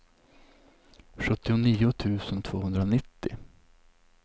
sjuttionio tusen tvåhundranittio